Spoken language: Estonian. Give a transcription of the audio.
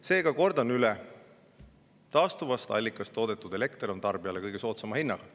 Seega kordan üle: taastuvast allikast toodetud elekter on tarbijale kõige soodsama hinnaga.